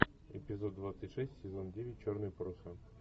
эпизод двадцать шесть сезон девять черные паруса